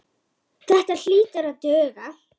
Þetta hlýtur að duga.